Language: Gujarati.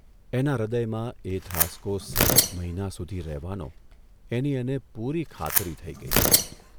એના હૃદયમાં એ ધ્રાસકો સતત મહિના સુધી રહેવાનો એની એને પૂરી ખાતરી થઇ ગઇ.